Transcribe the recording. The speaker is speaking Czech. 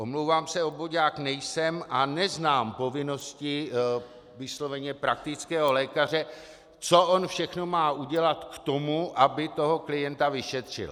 Omlouvám se, obvoďák nejsem a neznám povinnosti vysloveně praktického lékaře, co on všechno má udělat k tomu, aby toho klienta vyšetřil.